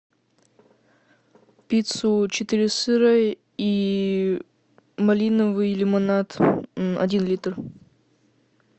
пиццу четыре сыра и малиновый лимонад один литр